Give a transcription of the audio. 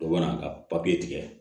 O mana ka papiye tigɛ